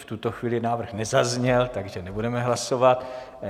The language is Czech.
V tuto chvíli návrh nezazněl, takže nebudeme hlasovat.